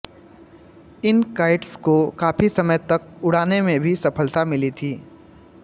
इन kites को काफ़ी समय तक उड़ाने में भी सफलता मिली थी